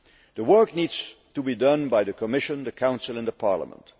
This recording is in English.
The work needs to be done by the Commission, the Council and Parliament.